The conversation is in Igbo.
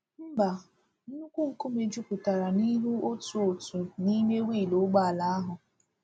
Mba, nnukwu nkume juputara n’ihu otu otu n’ime wiilụ ụgbọ ala ahụ.